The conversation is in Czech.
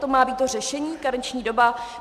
To má být to řešení, karenční doba?